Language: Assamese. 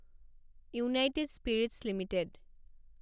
United Spirits limited